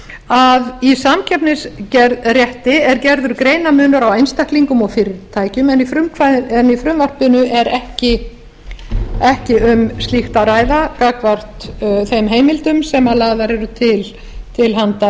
að í samkeppnisrétti er gerður greinarmunur á einstaklingum og fyrirtækjum en í frumvarpinu er ekki um slíkt að ræða gagnvart þeim heimildum sem lagðar eru til til handa